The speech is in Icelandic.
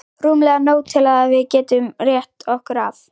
Rúmlega nóg til að við getum rétt okkur af.